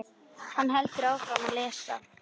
Hann heldur áfram að lesa: